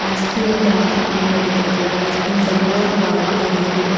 Ice cream ದ ಅಂಗಡಿ ತೋಜೊಡು ಐಸ್ ಕ್ರೀಮ್ ದ ಬೋರ್ಡ್ ಪಾಡ್ದೆರ್ ಎದುರು .